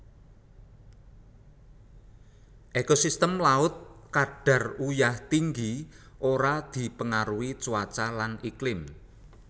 Ekosistem laut kadar uyah tinggi ora dipengaruhi cuaca lan iklim